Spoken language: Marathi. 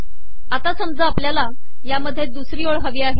आता समजा आपलयाला यात दुसरी ओळ हवी आहे